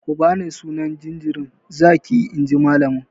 Ku bani sunan jinjirin zaki inji malamin!